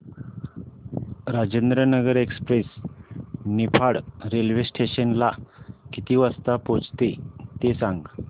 Rajendranagar express Niphad railway station ला किती वाजता पोहचते ते सांग